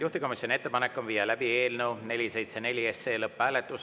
Juhtivkomisjoni ettepanek on viia läbi eelnõu 474 lõpphääletus.